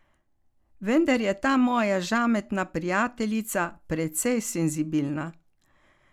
Vendar je ta moja žametna prijateljica precej senzibilna.